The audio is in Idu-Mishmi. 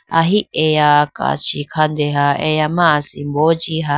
aho eya kachi khadenha eya ma asimbo jiha.